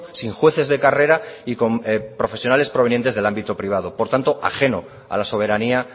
sin jueces de carrera y con profesionales provenientes del ámbito privado por tanto ajeno a la soberanía